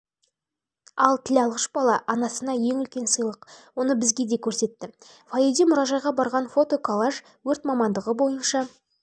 бала анасына ең үлкен сыйлық оны бізге де көрсетті фойеде мұражайға барған фото-коллаж өрт мамандығы